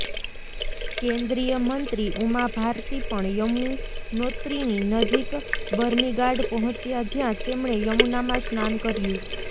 કેન્દ્રીય મંત્રી ઉમા ભારતી પણ યમુનોત્રીની નજીક બર્નીગાડ પહોંચ્યા જ્યાં તેમણે યમુનામાં સ્નાન કર્યું